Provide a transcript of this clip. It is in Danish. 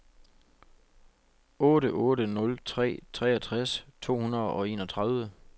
otte otte nul tre treogtres to hundrede og enogtredive